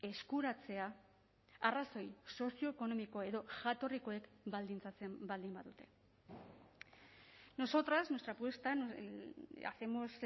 eskuratzea arrazoi sozioekonomiko edo jatorrikoek baldintzatzen baldin badute nosotras nuestra apuesta hacemos